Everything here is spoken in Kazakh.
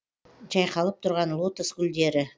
жайқалып тұрған лотос гүлдері